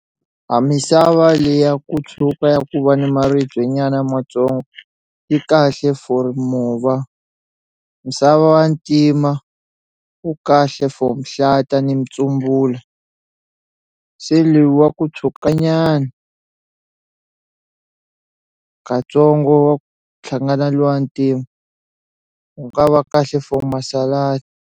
Ha misava leya ku tshuka ya ku va ni maribye nyana matsongo yi kahle for mova misava wa ntima wu kahle for mihlata ni mutsumbula se lu wa ku tshwuka nyana katsongo wa ku hlangana luwa ntima wu nga va kahle for masaladi.